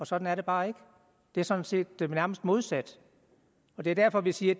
sådan er det bare ikke det er sådan set nærmest modsat og det er derfor vi siger